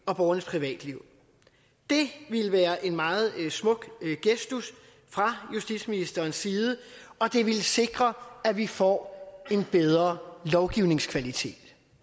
og borgernes privatliv det ville være en meget smuk gestus fra justitsministerens side og det ville sikre at vi får en bedre lovgivningskvalitet